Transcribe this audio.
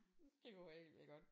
Det kunne være helt vildt godt